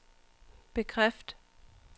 bekræft